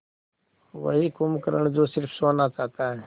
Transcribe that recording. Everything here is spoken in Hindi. वही कुंभकर्ण जो स़िर्फ सोना चाहता है